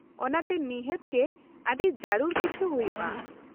-ᱚᱱᱟᱛᱮ ᱱᱤᱦᱟᱹᱛ ᱜᱮ ᱟᱹᱰᱤ ᱡᱟᱹᱨᱩᱲ ᱠᱤᱪᱷᱤ ᱦᱩᱭᱩᱜᱼᱟ ?